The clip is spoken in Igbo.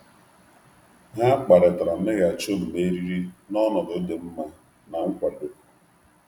Ha kparịtara mmeghachi omume eriri n’ọnọdụ dị um mma na nkwado.